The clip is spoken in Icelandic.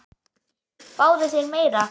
Fáðu þér meira!